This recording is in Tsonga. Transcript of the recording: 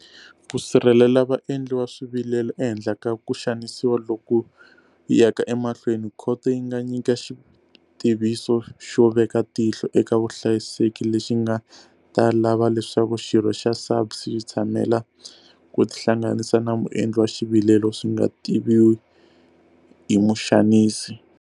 Ku sirhelela vaendli va swivilelo ehenhla ka ku xanisiwa loku yaka emahlweni, khoto yi nga nyika Xitiviso xo Veka Tihlo eka Vuhlayiseki lexi nga ta lava leswaku xirho xa SAPS xi tshamela ku tihlanganisa na muendli wa xivilelo swi nga tiviwi hi muxanisi.